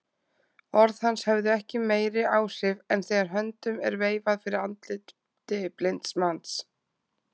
Orð hans höfðu ekki meiri áhrif en þegar höndum er veifað fyrir andliti blinds manns.